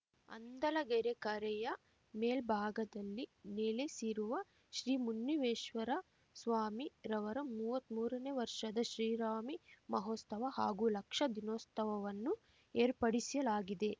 ಹಂದಲಗೆರೆ ಕರೆಯ ಮೇಲ್ಭಾಗದಲ್ಲಿ ನೆಲೆಸಿರುವ ಶ್ರೀ ಮುನ್ನಿವೇಶ್ವರ ಸ್ವಾಮಿ ರವರ ಮೂವತ್ಮೂರನೇ ವರ್ಷದ ಶ್ರಿರಾಮಿ ಮಹೋಸ್ತವ ಹಾಗೂ ಲಕ್ಷ ದೀನೋತ್ಸವವನ್ನು ಏರ್ಪಡಿಸಲಾಗಿದೆ